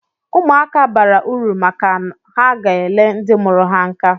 Ụmụaka bara uru maka ha ga-ele ndị mụrụ ha nka